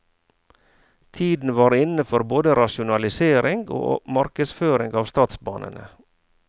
Tiden var inne for både rasjonalisering og markedsføring av statsbanene.